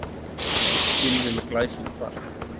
Gylfi með glæsilegt mark